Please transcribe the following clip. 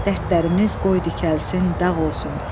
Dərdlərimiz qoy tikəlsin, dağ olsun.